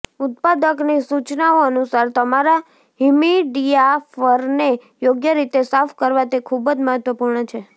ઉત્પાદકની સૂચનાઓ અનુસાર તમારા હમિડિફાયરને યોગ્ય રીતે સાફ કરવા તે ખૂબ જ મહત્વપૂર્ણ છે